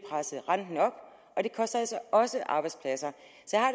presse renten op og det koster altså også arbejdspladser